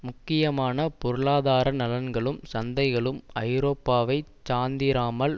முக்கியமான பொருளாதார நலன்களும் சந்தைகளும் ஐரோப்பாவைச் சாந்திராமல்